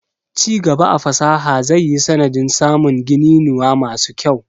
Ci gaba a fasaha zai yi sanadin samun gininuwa masu kyau.